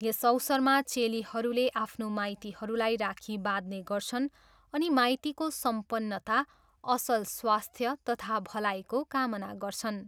यस अवसरमा चेलीहरूले आफ्नो माइतीहरूलाई राखी बाँध्ने गर्छन् अनि माइतीको सम्पन्नता, असल स्वास्थ्य तथा भलाईको कामना गर्छन्।